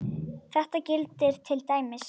Um þetta gildir til dæmis